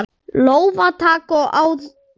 Lófatak og aðdáun.